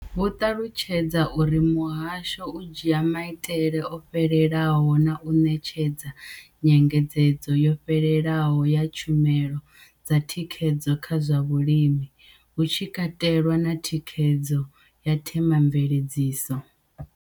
Vho ṱalutshedza uri muhasho u dzhia maitele o fhelelaho na u ṋetshedza nyengedzedzo yo fhelelaho ya tshumelo dza thikhedzo kha zwa vhulimi, hu tshi katelwa na thikhedzo ya themamveledziso.